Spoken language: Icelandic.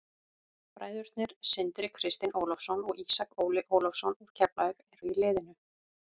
Bræðurnir Sindri Kristinn Ólafsson og Ísak Óli Ólafsson úr Keflavík eru í liðinu.